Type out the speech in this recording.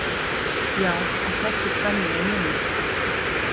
Já, á þessu tvennu er munur.